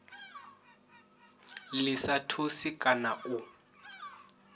ḽi sa thusi kana u